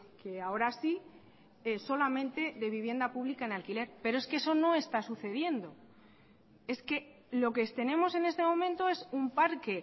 que ahora sí solamente de vivienda pública en alquiler pero es que eso no está sucediendo es que lo que tenemos en este momento es un parque